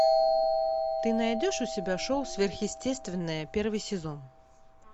ты найдешь у себя шоу сверхъестественное первый сезон